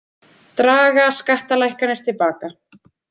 Draga skattalækkanir til baka